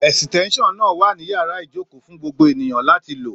Èsìtéńsàn náà wà ní yàrá ìjókòó fún gbogbo ènìyàn láti lò